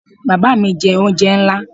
Baba mi jẹ onjẹ nla